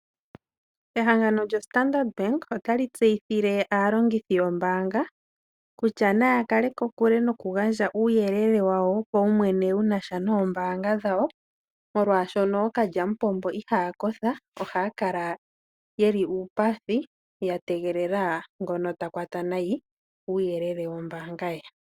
Ehangano lyombanga yoStandard otali tseyithile aalongithi yombaanga kutya naya kale kokule nokugandja uuyelele wawo wopaumwene wunasha noombanga dhawo molwaashoka okalyamupombo ihaya kotha yategelela ngono takwata nayi uuyelele wombaanga ye.